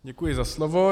Děkuji za slovo.